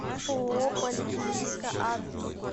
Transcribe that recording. ооо поликлиника адрес